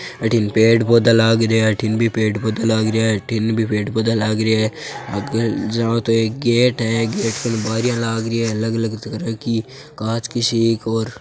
अठिन पेड़ पौधा लाग रया है अठिन भी पेड़ पौधा लाग रया है अठीन भी पेड़ पौधा लाग रया है आग जावां तो एक गेट है गेट क बारियां लाग री है अलग अलग तरह की कांच की सी क और --